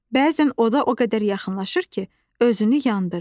Bəzən oda o qədər yaxınlaşır ki, özünü yandırır.